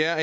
er